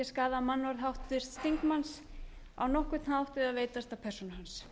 skaða mannorð háttvirts þingmanns á nokkurn hátt eða veitast að persónu hans